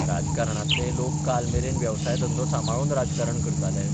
राजकारणांतलेय लोक काल मेरेन वेवसाय धंदो सांबाळून राजकारण करताले.